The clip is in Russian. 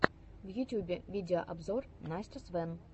в ютубе видеообзор настя свэн